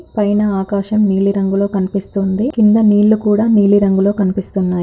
పైన ఆకాశం నీలి రంగులో కనిపిస్తుంది. కింద నీళ్లు కూడా నీలి రంగులో కనిపిస్తున్నాయి.